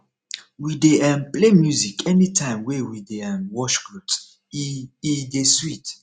we dey um play music anytime wey we dey um wash clothes e e dey sweet